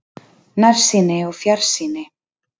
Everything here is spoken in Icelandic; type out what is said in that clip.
NÆRSÝNI OG FJARSÝNI